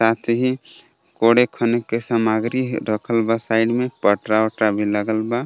कोड़े खने के सामग्री रखल बा साइड में पटरा वटरा भी लागल बा.